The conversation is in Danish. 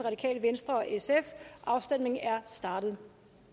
afstemningen er startet